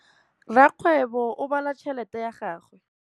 Rakgwêbô o bala tšheletê ya gagwe.